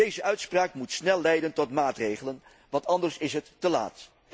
Deze uitspraak moet snel leiden tot maatregelen, want anders is het te laat.